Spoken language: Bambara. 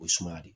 O ye suma de